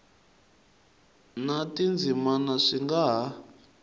na tindzimana swi nga ha